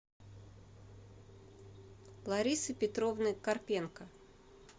ларисы петровны карпенко